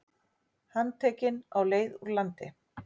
Handtekinn á leið úr landi